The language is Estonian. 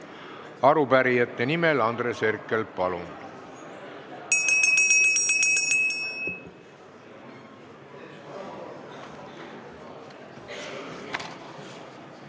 Arupärijate nimel Andres Herkel, palun!